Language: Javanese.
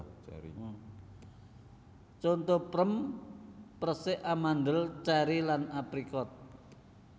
Conto prem persik amandel ceri lan aprikot